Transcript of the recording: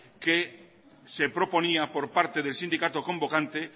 que se proponía por parte del sindicato convocante